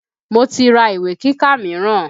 Mo ti ra ìwé kíkà míràn.